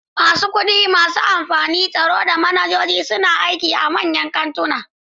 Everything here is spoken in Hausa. Masu kudi, masu amfani, tsaro, da manajoji suna aiki a manyan kantuna.